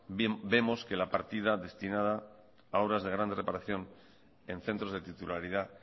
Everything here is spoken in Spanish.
vemos que la partida destinada a obras de gran reparación en centros de titularidad